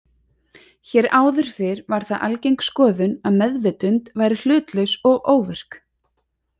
Hér áður fyrr var það algeng skoðun að meðvitund væri hlutlaus og óvirk.